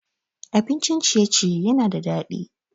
Abincin ciye-ciye yana da daɗi.